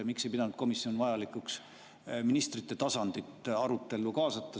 Miks ei pidanud komisjon vajalikuks ministrite tasandit arutellu kaasata?